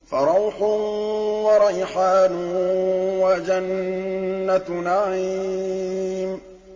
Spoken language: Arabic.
فَرَوْحٌ وَرَيْحَانٌ وَجَنَّتُ نَعِيمٍ